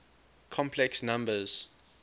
complex numbers